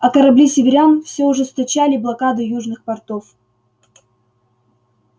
а корабли северян все ужесточали блокаду южных портов